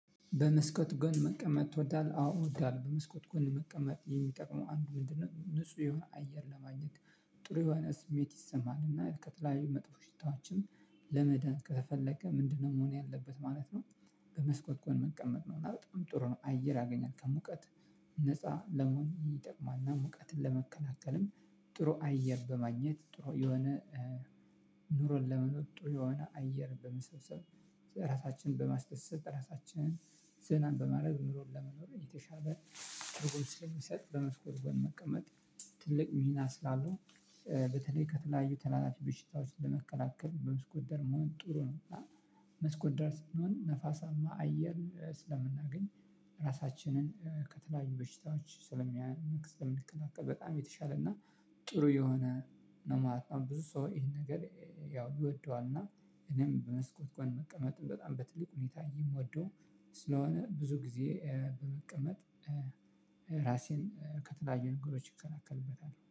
በመስኮት ጎን መቀመጥ ትወዳለህ? አዎ እወዳለሁ። በመስኮት ጎን መቀመጥ የሚጠቅመው አንዱ ምንድነው ንጹህ የሆነ አየር ለማግኘት ጥሩ የሆነ ስሜት ይሰማናል እና ከተለያዩ መጥፎ ሽታዎችን ለመዳን ከተፈለገ ምንድነው መሆን ያለበት ማለት ነው? በመስኮት ከጎን መቀመጥ ነው እና በጣም ጥሩ ነው። አየር ያገኛል ከሙቀት ነፃ ለመሆን ይጠቅማልና። ሙቀትን ለመከላከልም ጥሩ አየር በማግኘት ጥሩ የሆነ እ ኑሮን ለመኖር ጥሩ የሆነ አየር በመሰብሰብ። ራሳችንን በማስደሰት ራሳችንን ዘና በማድረግ ኑሮን ለመኖር የተሻለ ትርጉም ስለሚሰጥ። በመስኮት ጎን መቀመጥ ትልቅ ሚና ስላለው። በተለይ ከተለያዩ ተላላፊ ብሽታዎች ለመከላከል በመስኮት ዳር መሆን ጥሩ ነው። እና መስኮት ዳር ስንሆን ነፋሳማ አየር እ ስለምናገኝ ራሳችንን ከተለያዩ በሽታዎች ስለሚያ ስለምከላከል በጣም የተሻለ እና ጥሩ የሆነ ነው ማለት ነው። ብዙ ሰው ይሄን ነገር ያው ይወደዋልና እኔም በመስኮት ጎን መቀመጥን በጣም በትልቅ ሁኔታ እየምወደው ስለሆነ። ብዙ ጊዜ በመቀመጥ እ ራሴን ከተለያዩ ነገሮች እከላከልበታለሁ